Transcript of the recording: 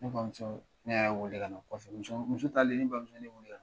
Ne bamuso, ne yɛrɛ wele ka na kɔfɛ, muso talen, ne bamuso ye ne weele ka na.